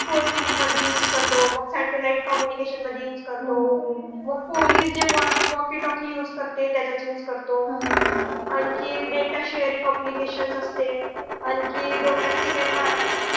phone मध्ये use करतो मग satellite communication मध्ये use करतो मग पोलीस जे walky talky use करते त्यात use करतो. आणखी data shareing application असते आणखी domestic